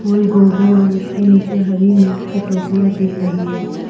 फूल गोभी और उसके नीचे हरी मिर्च की टोकरिया दिख रही हैं।